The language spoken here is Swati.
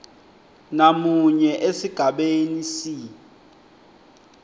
namunye esigabeni c